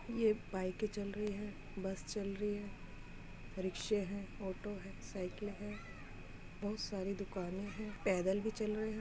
ये बाइके चल रही है बस चल रही है रिक्शे हैं ऑटो हैं साइकिल है बहुत सारी दुकानें है। पैदल भी चल रहे हैं।